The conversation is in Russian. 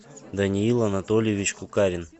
даниил анатольевич кукарин